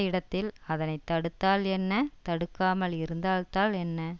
இடத்தில் அதனை தடுத்தால் என்ன தடுக்காமல் இருந்தால்தான் என்ன